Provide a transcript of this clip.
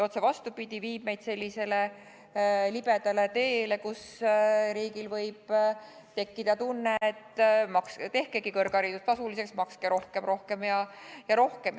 Otse vastupidi, see viib meid sellisele libedale teele, kus riigil võib tekkida tunne, et tehkegi kõrgharidus tasuliseks, makske rohkem, rohkem ja rohkem.